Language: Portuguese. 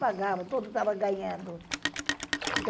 Pagavam, todos estavam ganhando.